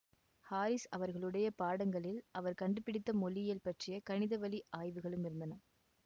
Harris அவர்களுடைய பாடங்களில் அவர் கண்டுபிடித்த மொழியியல் பற்றிய கணித வழி ஆய்வுகளும் இருந்தன